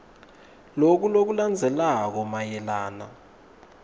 loku lokulandzelako mayelana